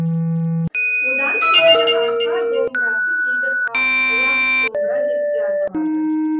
одан кейінгі арқа домбырасы кейде қалақ домбыра деп те аталады